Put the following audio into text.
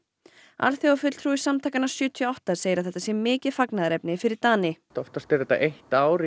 alþjóðafulltrúi samtakanna sjötíu og átta segir að þetta sé mikið fagnaðarefni fyrir Dani oftast er þetta eitt ár